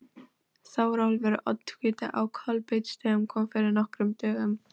Þórólfur oddviti á Kolbeinsstöðum kom fyrir nokkrum dögum.